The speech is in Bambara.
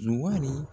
Zuwali